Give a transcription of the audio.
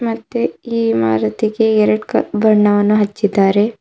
ಮತ್ತೆ ಈ ಮಾರುತಿಗೆ ಎರಡ್ ಕ ಬಣ್ಣವನ್ನು ಹಚ್ಚಿದ್ದಾರೆ.